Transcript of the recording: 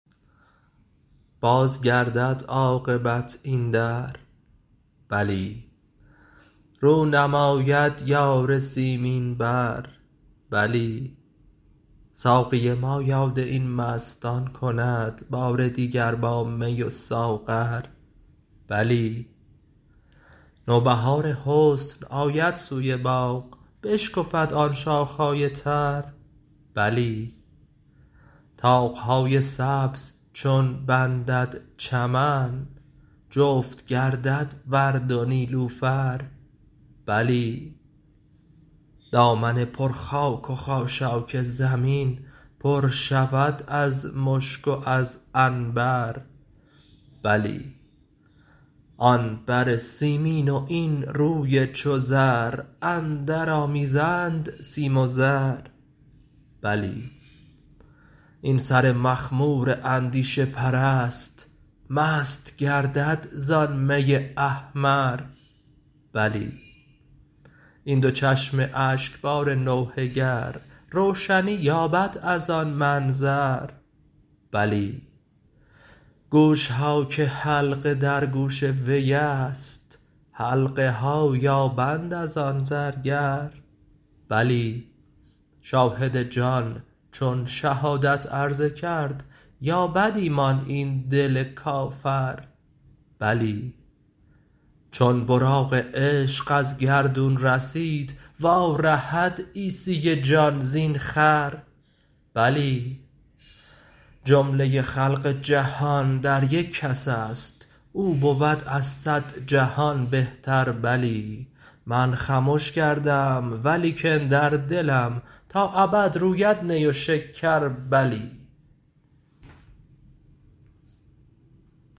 باز گردد عاقبت این در بلی رو نماید یار سیمین بر بلی ساقی ما یاد این مستان کند بار دیگر با می و ساغر بلی نوبهار حسن آید سوی باغ بشکفد آن شاخه های تر بلی طاق های سبز چون بندد چمن جفت گردد ورد و نیلوفر بلی دامن پر خاک و خاشاک زمین پر شود از مشک و از عنبر بلی آن بر سیمین و این روی چو زر اندرآمیزند سیم و زر بلی این سر مخمور اندیشه پرست مست گردد زان می احمر بلی این دو چشم اشکبار نوحه گر روشنی یابد از آن منظر بلی گوش ها که حلقه در گوش وی است حلقه ها یابند از آن زرگر بلی شاهد جان چون شهادت عرضه کرد یابد ایمان این دل کافر بلی چون براق عشق از گردون رسید وارهد عیسی جان زین خر بلی جمله خلق جهان در یک کس است او بود از صد جهان بهتر بلی من خمش کردم و لیکن در دلم تا ابد روید نی و شکر بلی